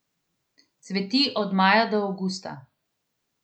Cveti od maja do avgusta.